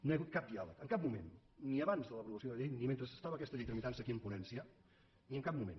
no hi ha hagut cap diàleg en cap moment ni abans de l’aprovació de la llei ni mentre estava aquesta llei tramitant se aquí en ponència ni en cap moment